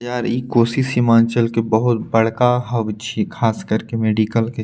यार इ कोसी सीमांचल के बहुत बड़का हब छै खास करके मेडिकल के।